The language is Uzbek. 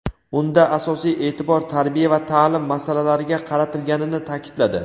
unda asosiy eʼtibor tarbiya va taʼlim masalalariga qaratilganini taʼkidladi.